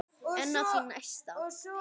En á því næsta?